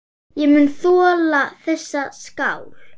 Ég mun þola þessa skál.